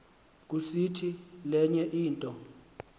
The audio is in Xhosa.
kusiti lenye into